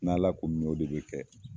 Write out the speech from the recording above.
N' ala ko mi o de be kɛ